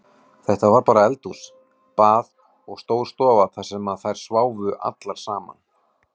Þetta var bara eldhús, bað og stór stofa þar sem þær sváfu allar saman.